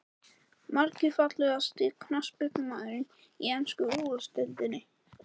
Margir Fallegasti knattspyrnumaðurinn í ensku úrvalsdeildinni?